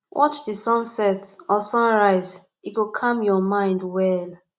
watch the sunset or sunrise e go calm your mind well